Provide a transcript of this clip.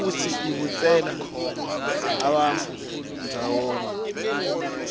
futsi ibutsela bantfu ndzawonye